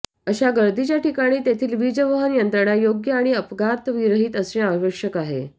अशा गर्दीच्या ठिकाणी तेथील वीजवहन यंत्रणा योग्य आणि अपघातविरहित असणे आवश्यक आहे